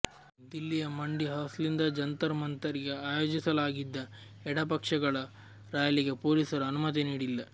ದಿಲ್ಲಿಯ ಮಂಡಿ ಹೌಸ್ನಿಂದ ಜಂತರ್ ಮಂಥರ್ ಗೆ ಆಯೋಜಿಸಲಾಗಿದ್ದ ಎಡಪಕ್ಷಗಳ ರಾಲಿಗೆ ಪೊಲೀಸರು ಅನುಮತಿ ನೀಡಿಲ್ಲ